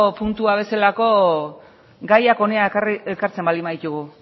puntua bezala gaiak hona ekartzen baldin baditugu